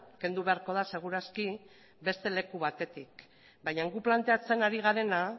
kendu beharko da segur aski beste leku batetik baina gu planteatzen ari garena